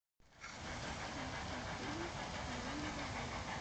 найти фильм семейного жанра